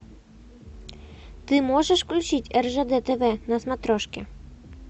ты можешь включить ржд тв на смотрешке